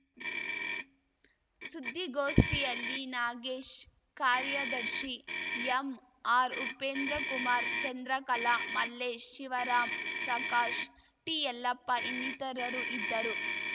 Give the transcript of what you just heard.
ಸುದ್ದಿಗೋಷ್ಠಿಯಲ್ಲಿ ನಾಗೇಶ್‌ ಕಾರ್ಯದರ್ಶಿ ಎಂಆರ್‌ಉಪೇಂದ್ರಕುಮಾರ್‌ ಚಂದ್ರಕಲಾ ಮಲ್ಲೇಶ್‌ ಶಿವರಾಂ ಪ್ರಕಾಶ್‌ ಟಿಯಲ್ಲಪ್ಪ ಇನ್ನಿತರರು ಇದ್ದರು